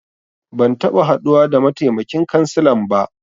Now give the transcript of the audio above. Ban taɓa haduwa da mataimakin kansilan ba.